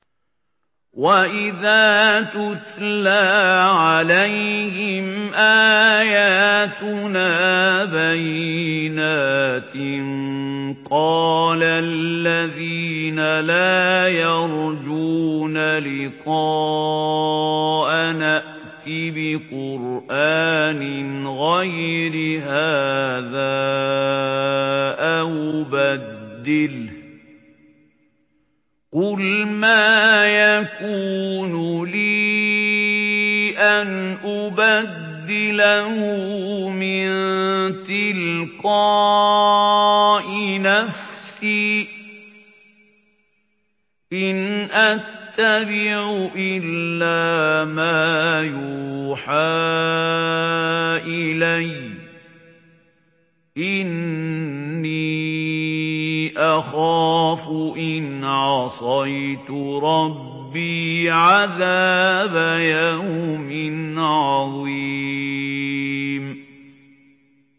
وَإِذَا تُتْلَىٰ عَلَيْهِمْ آيَاتُنَا بَيِّنَاتٍ ۙ قَالَ الَّذِينَ لَا يَرْجُونَ لِقَاءَنَا ائْتِ بِقُرْآنٍ غَيْرِ هَٰذَا أَوْ بَدِّلْهُ ۚ قُلْ مَا يَكُونُ لِي أَنْ أُبَدِّلَهُ مِن تِلْقَاءِ نَفْسِي ۖ إِنْ أَتَّبِعُ إِلَّا مَا يُوحَىٰ إِلَيَّ ۖ إِنِّي أَخَافُ إِنْ عَصَيْتُ رَبِّي عَذَابَ يَوْمٍ عَظِيمٍ